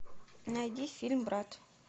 найди фильм брат